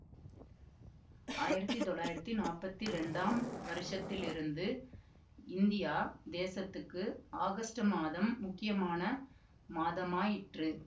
ஆயிரத்தி தொள்ளாயிரத்தி நாப்பத்தி இரண்டாம் வருஷத்திலிருந்து இந்தியா தேசத்துக்கு ஆகஸ்டு மாதம் முக்கியமான மாதமாயிற்று